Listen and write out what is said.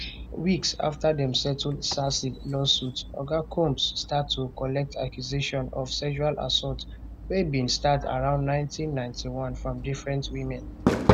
weeks afta dem settle cassie lawsuit oga combs start to collect accusation of sexual assault wey bin start around 1991 from different women